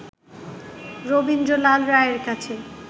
রবীন্দ্রলাল রায়ের কাছে